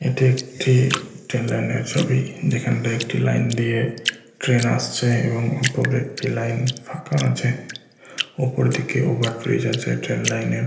এটি একটি ট্রেন লাইনে ছবি যেখানটায় একটি লাইন দিয়ে ট্রেন আসছে এবং ওপরে একটি লাইন ফাঁকা আছে ওপর দিকে ওভার ব্রিজ আছে ট্রেন লাইনের ।